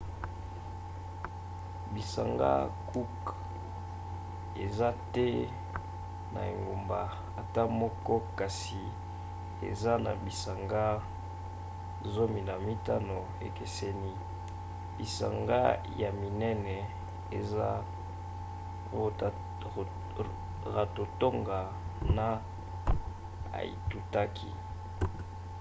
bisanga cook eza te na engumba ata moko kasi eza na bisanga 15 ekeseni. bisanga ya minene eza rarotonga na aitutaki